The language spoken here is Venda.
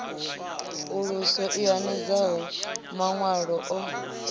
uluso i hanedzaho mawanwa o